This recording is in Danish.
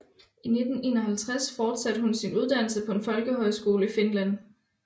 I 1951 fortsatte hun sin uddannelse på en folkehøjskole i Finland